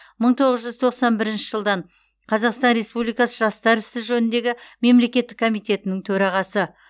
мың тоғыз жүз тоқсан бірінші жылдан қазақстан республикасы жастар ісі жөніндегі мемлекеттік комитетінің төрағасы